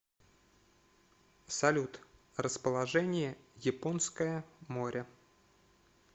салют расположение японское море